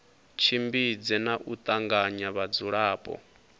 tshimbidze na u tanganya vhadzulapo